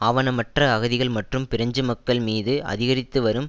ஆவணமற்ற அகதிகள் மற்றும் பிரெஞ்சு மக்கள் மீது அதிகரித்து வரும்